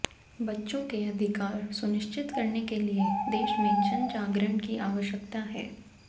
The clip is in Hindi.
बच्चों के अधिकार सुनिश्चित करने के लिए देश में जन जागरण की आवश्यकता है